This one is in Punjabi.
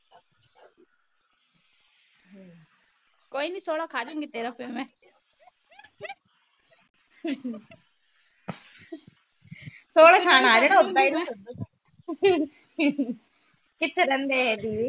ਕੋਈ ਨਹੀਂ ਥੋੜ੍ਹਾ ਖੜੂਗੀ ਫਿਰ ਤੇਰਾ ਮੈ ਕਿਥੇ ਰਹਿੰਦੇ ਇਹ ਦੀਦੀ